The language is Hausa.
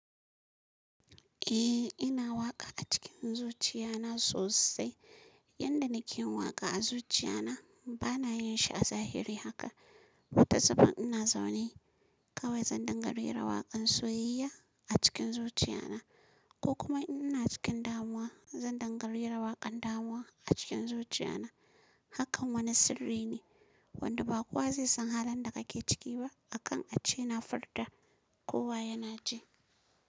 Eh ina waƙa a cikin zuciya na sosai. Yanda nake waƙa a zuciya na bana yin shi a zahiri haka. Wata safar ina zaune kawai zan dinga rera waƙan soyayya a cikin zuciya na ko kuma ina cikin damuwa zan dinga rera waƙan damuwa a cikin zuciya na. Hakan wani sirri ne wanda ba kowa zai san halin da kake ciki ba akan a ce ina furta kowa yana ji.